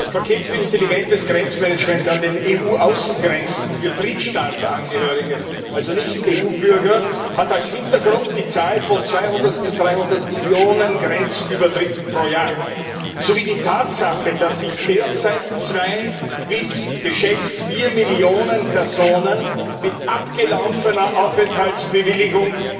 Das Paket für intelligentes Grenzmanagement an den EU Außengrenzen für Drittstaatsangehörige, also Nicht EU Bürger, hat als Hintergrund die Zahl von 200 bis 300 Millionen Grenzübertritten pro Jahr sowie die Tatsache, dass sich derzeit zwei bis geschätzt vier Millionen Personen mit abgelaufener Aufenthaltsbewilligung